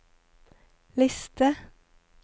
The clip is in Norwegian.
liste